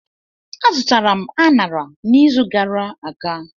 Azụtara m anara n'izu gara aga.